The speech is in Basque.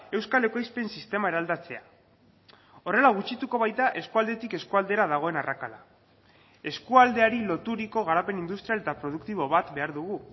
euskal ekoizpen sistema eraldatzea horrela gutxituko baita eskualdetik eskualdera dagoen arrakala eskualdeari loturiko garapen industrial eta produktibo bat behar dugu